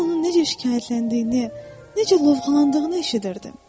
Mən onun necə şikayətləndiyini, necə lovğalandığını eşidirdim.